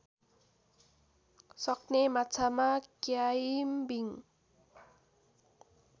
सक्ने माछामा क्याइम्बिङ